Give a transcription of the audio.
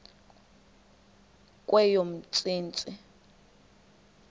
kweyomntsintsi